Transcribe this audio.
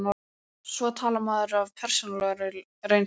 Svo talar maður af persónulegri reynslu.